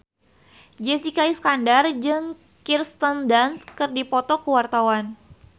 Jessica Iskandar jeung Kirsten Dunst keur dipoto ku wartawan